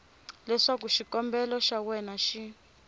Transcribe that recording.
leswaku xikombelo xa wena xi